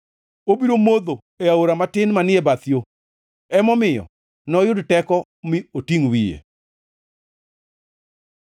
Obiro modho e aora matin manie bath yo, emomiyo noyud teko mi otingʼ wiye.